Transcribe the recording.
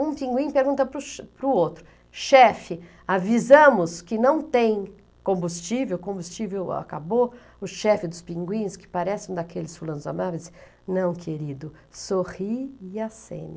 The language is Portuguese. Um pinguim pergunta para o outro, chefe, avisamos que não tem combustível, combustível acabou, o chefe dos pinguins, que parece um daqueles fulanos amáveis, não querido, sorri e acene.